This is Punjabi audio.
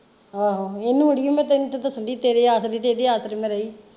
ਆਹੋ ਇਹਨੂੰ ਅੜੀਏ ਮੈਂ ਤੈਨੂੰ ਤੇ ਦੱਸਣ ਦੀ ਤੇਰੇ ਆਸਰੇ ਤੇ ਇਹਦੇ ਆਸਰੇ ਮੈਂ ਰਹੀ।